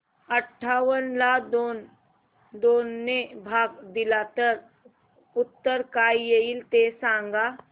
अठावन्न ला दोन ने भाग दिला तर उत्तर काय येईल ते सांगा